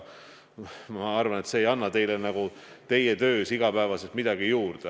Ma arvan, et see ei anna teile igapäevases töös midagi juurde.